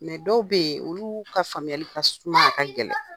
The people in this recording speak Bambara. dɔw bɛ yen olu ka faamuyali ka suma, a ka gɛlɛn.